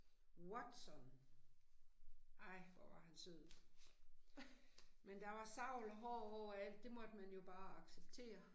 Watson. Ej, hvor var han sød. Men der var savl og hår overalt, det måtte man jo bare acceptere